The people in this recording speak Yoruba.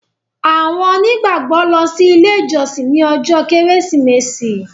àwọn onígbàgbọ lọ si ile ijọsin ní ojó kérésìmesì.